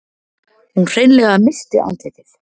Hún hreinlega missti andlitið.